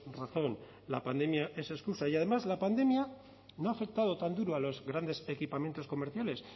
razón la pandemia es excusa y además la pandemia no ha afectado tan duro a los grandes equipamientos comerciales